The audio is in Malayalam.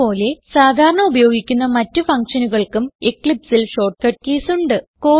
ഇത് പോലെ സാധാരണ ഉപയോഗിക്കുന്ന മറ്റ് ഫങ്ഷനുകൾക്കും eclipseൽ ഷോർട്ട്കട്ട് കീസ് ഉണ്ട്